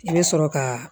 I bɛ sɔrɔ ka